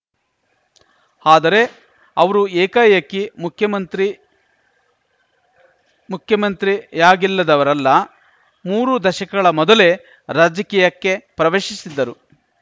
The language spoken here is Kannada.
ಆದರೆ ಅವರು ಏಕಾಏಕಿ ಮುಖ್ಯಮಂತ್ರಿ ಮುಖ್ಯಮಂತ್ರಿಯಾಗಿಲ್ಲದವರಲ್ಲ ಮೂರು ದಶಕಗಳ ಮೊದಲೇ ರಾಜಕೀಯಕ್ಕೆ ಪ್ರವೇಶಿಸಿದ್ದರು